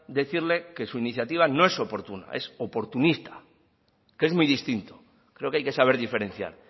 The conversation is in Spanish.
decirle que su iniciativa no es oportuna es oportunista que es muy distinto creo que hay que saber diferenciar